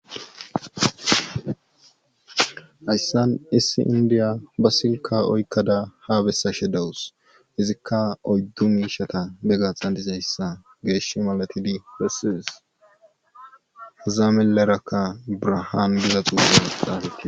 Hayssan issi indiya ba silka oykkada haabessa she dawus izikka oyddu miishata begaxan dizayssa geesh malatidi pessis zaamilleraka brahaan beza xuuulelexxati